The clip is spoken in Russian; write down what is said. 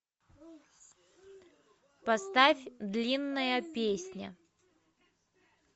поставь длинная песня